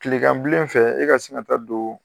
Kilekanbilen fɛ e ka sin ka ta don.